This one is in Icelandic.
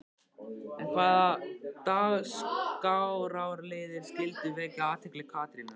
En hvaða dagskrárliðir skyldu vekja athygli Katrínar?